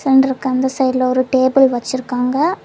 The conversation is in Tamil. சிலிண்டருக்கு அந்த சைட்ல ஒரு டேபிள் வச்சிருக்காங்க.